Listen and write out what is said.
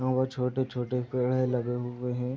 दोगो छोटे-छोटे पेड़ है लगे हुए है।